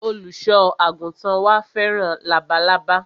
Olùsọ àgùntàn wa fẹ́ràn labalábá